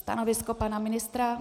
Stanovisko pana ministra?